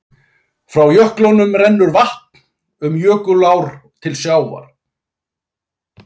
Frá jöklunum rennur vatn um jökulár til sjávar.